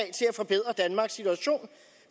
forbedre danmarks situation